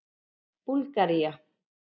Búlgaría